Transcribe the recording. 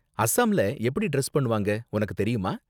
அஸாம்ல எப்படி டிரஸ் பண்ணுவாங்க? உனக்கு தெரியுமா?